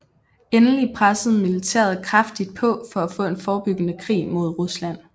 Endelig pressede militæret kraftigt på for at få en forebyggende krig mod Rusland